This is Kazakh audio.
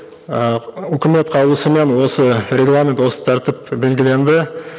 ыыы үкімет қаулысымен осы регламент осы тәртіп белгіленді